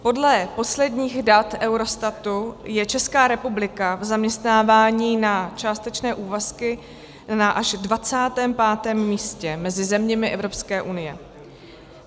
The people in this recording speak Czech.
Podle posledních dat Eurostatu je Česká republika v zaměstnávání na částečné úvazky až na 25. místě mezi zeměmi Evropské unie.